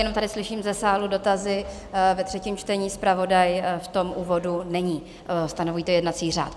Jenom tady slyším ze sálu dotazy, ve třetím čtení zpravodaj v tom úvodu není, stanoví to jednací řád.